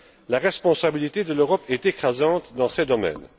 La responsabilité de l'Europe est écrasante dans ces domaines.